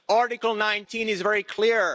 Article 19 is very clear.